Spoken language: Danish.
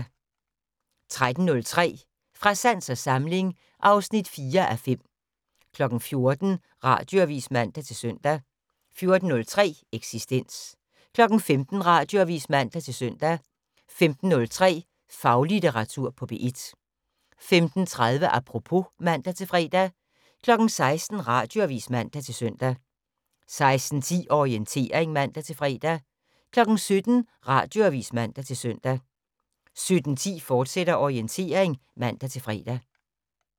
13:03: Fra sans og samling (4:5) 14:00: Radioavis (man-søn) 14:03: Eksistens 15:00: Radioavis (man-søn) 15:03: Faglitteratur på P1 15:30: Apropos (man-fre) 16:00: Radioavis (man-søn) 16:10: Orientering (man-fre) 17:00: Radioavis (man-søn) 17:10: Orientering, fortsat (man-fre)